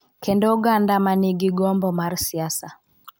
Kendo oganda ma nigi gombo mar siasa.